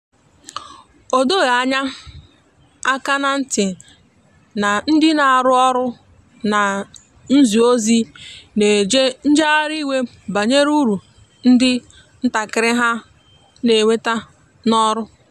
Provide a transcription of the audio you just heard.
a dọghi anya aka na nti na ndi na arụ ọrụ na nzi ozi na eje njehari iwe banyere ụrụ ndi ntakiri ha n'enweta n'ọrụ.